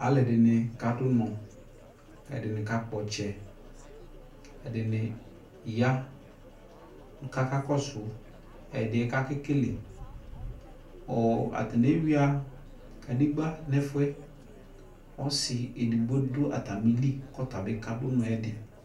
alʊɛdɩnɩ kadʊ unɔ, ɛdɩnɩ kakpɔ ɔtsɛ, ɛdɩnɩ ya, kakakɔsʊ ɛdɩ yɛ bua kʊ akekele, atanɩ ewuia kadegbǝ nʊ ɛfụ yɛ, ɔsi edigbo dʊ atamili kʊ ɔtabɩ kadʊ unɔ yɛ